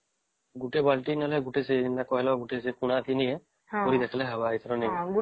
ଗୋଟେ ବାଲ୍ଟି ନେଲେ ଗୋଟିଏସେ କଣ ନେଲେ ଯେମିତି କହିଲା ନେଲେ ଭରି ଆସିଲେ ଆସିବ